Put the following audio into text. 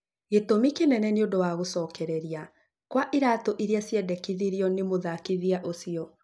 Gĩtũmi kĩnene nĩ ũndũ wa gũcokereria kwa iratũ iria ciendekithirio nĩ mũthakithia ũcio